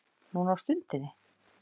Núna á stundinni